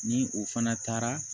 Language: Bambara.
Ni o fana taara